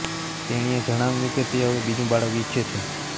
તેણીએ જણાવ્યું કે તે હવે બીજુ બાળક ઇચ્છે છે